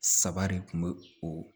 Saba de kun be o